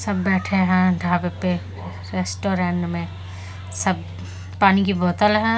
सब बैठे हैं ढाबे पे रेस्टोरेंट में सब पानी की बोतल है।